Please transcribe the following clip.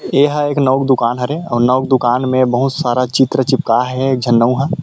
ये ह एक नाउ के दुकान हरे आऊ नाउ के दुकान में बहुत सारा चित्र चिपकाये हे एक झन नाउ ह--